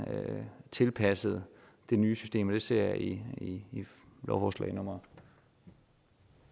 tilpasset det nye system det ser jeg i lovforslag